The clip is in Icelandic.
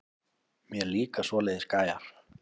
Mér líka svoleiðis gæjar.